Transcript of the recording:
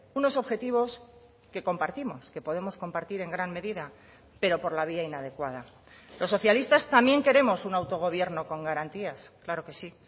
unos objetivos que compartimos que podemos compartir en gran medida pero por la vía inadecuada los socialistas también queremos un autogobierno con garantías claro que sí